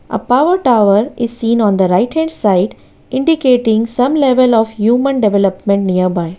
a power tower is seen on the right hand side indicating some level of human development nearby.